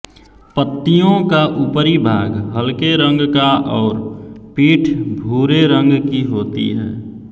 पत्तियों का ऊपरी भाग हलके रंग का और पीठ भूरे रंग की होती है